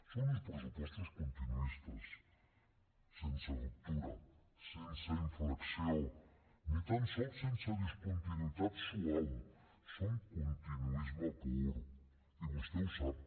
són uns pressupostos continuistes sense ruptura sense inflexió ni tan sols sense discontinuïtat suau són continuisme pur i vostè ho sap